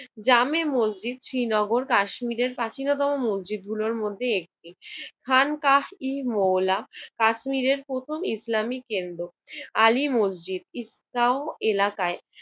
জামে মসজিদ, শ্রীনগর কাশ্মীরের প্রাচীনতম মসজিদগুলোর মধ্যে একটি। খান কাশ-ই-মৌলা কাশ্মীরের প্রথম ইসলামিক কেন্দ্র। আলী মসজিদ, ঈদগাহ এলাকায়